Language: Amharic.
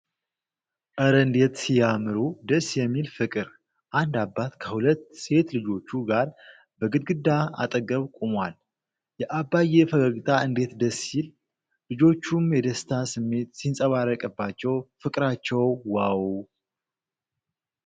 ኧረ እንዴት ሲያምሩ! ደስ የሚል ፍቅር! አንድ አባት ከሁለት ሴት ልጆቹ ጋር በግድግዳ አጠገብ ቆሟል። የአባዬ ፈገግታ እንዴት ደስ ይል! ልጆቹም የደስታ ስሜት ሲንጸባረቅባቸው ፍቅራቸው ዋው!።